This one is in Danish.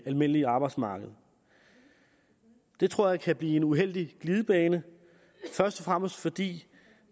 almindelige arbejdsmarked det tror jeg kan blive en uheldig glidebane først og fremmest fordi